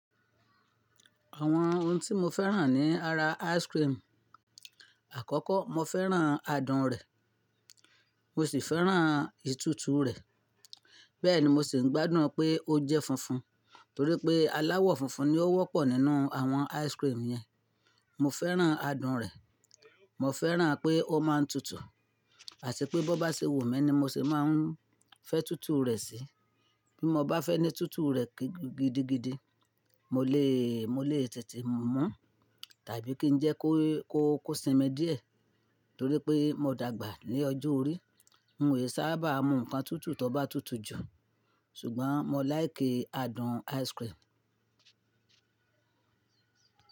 Àwọn ohun tí mo fẹ́ràn ní ara ice cream. Àkọ́kọ́ mo fẹ́ràn adùn rẹ̀, mo sì fẹ́ràn ìtútù rẹ̀. Bẹ́ẹ̀ ni mo sì ń gbádùn pé ó jẹ́ funfun, torí pé aláwọ̀ funfun ni ó wọ́pọ̀ nínú àwọn ice cream yẹn. Mo fẹ́ràn adùn rẹ̀, mo fẹ́ràn pé ó máa ń tutù, àti pé bó bá ṣe wù mí ni mo sè máa ń fẹ́ tútù rẹ̀ sí. Bí mo bá fẹ́ ní tútù rẹ̀ gidigidi, mo lè, mo lè tètè mú tàbí kí ń jẹ́ kó, kó, kó sinmi díẹ̀, torí pé mo dàgbà ní ọjọ́ orí. N ò sábà mú nǹkan tútù tó bá tutù jù, ṣùgbọ́n mo láìké adùn ice cream.